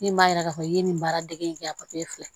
Min b'a yira k'a fɔ i ye nin baara dege in kɛ a fila